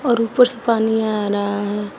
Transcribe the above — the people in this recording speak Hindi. और ऊपर से पानी आ रहा है।